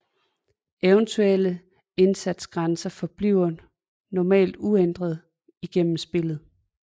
Eventuelle indsatsgrænser forbliver normalt uændrede igennem spillet